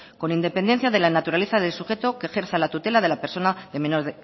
con independencia de la naturaleza del sujeto que ejerce la tutela de la persona menor